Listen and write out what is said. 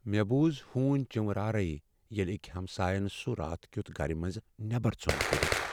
مےٚ بوز ہُونۍ سٕنز چینورارے ییٚلہ اکۍ ہمساین سُہ رات کیُتھ گرٕ منزٕ نیبر ژھُن کٔڈِتھ۔